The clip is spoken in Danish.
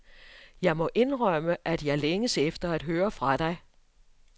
Jeg må indrømme, at jeg længes efter at høre fra dig.